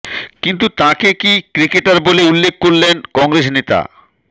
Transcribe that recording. কিন্তু তাঁকে কি ক্রিকেটার বলে উল্লেখ করলেন কংগ্রেস নেতা